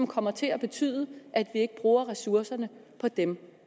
kommet til at betyde at vi ikke bruger ressourcerne på dem